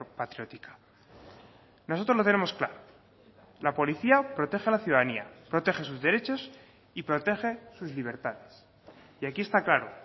patriótica nosotros lo tenemos claro la policía protege a la ciudadanía protege sus derechos y protege sus libertades y aquí está claro